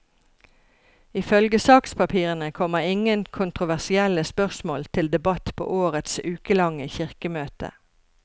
Ifølge sakspapirene kommer ingen kontroversielle spørsmål til debatt på årets ukelange kirkemøte.